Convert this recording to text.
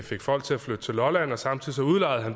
fik folk til at flytte til lolland og samtidig udlejede